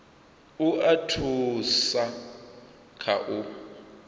u a thusa kha u